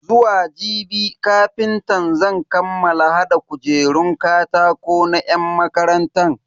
Zuwa jibi kafintan zan kammala hada kujerun katako na yan makarantan.